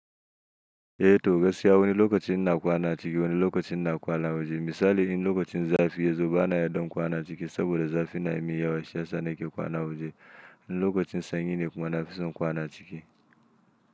Eh to gaskiya wani lokacin ina kwana ciki wani lokacin na kwana waje. Misali in lokacin zafi ya zo bana yarda in kwana ciki saboda zafi namun yawa shi yasa hake kwana awaje. In lokacin sanyi ne kuma nafison kwana ciki.